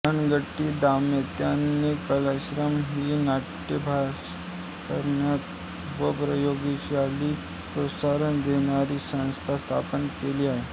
हट्टंगडी दाम्पत्याने कलाश्रय ही नाट्याभ्यास करणारी व प्रयोगशीलतेला प्रोत्साहन देणारी संस्था स्थापन केलेली आहे